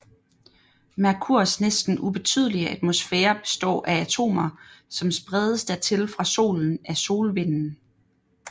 Merkurs næsten ubetydelige atmosfære består af atomer som spredes dertil fra Solen af solvinden